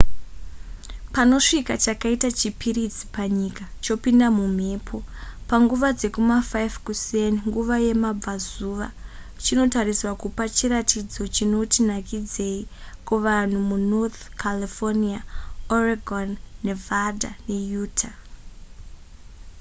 panosvika chakaita chipiritsi panyika chopinda mumhepo panguva dzekuma5 kuseni nguva yekumabvazuva chinotarisirwa kupa chiratidzo chinoti nakidzeyi kuvanhu munorth california oregon nevada neutah